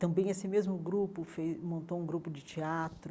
Também esse mesmo grupo fez montou um grupo de teatro.